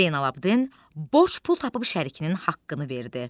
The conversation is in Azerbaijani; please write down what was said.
Zeynallabdin boş pul tapıb şərikinin haqqını verdi.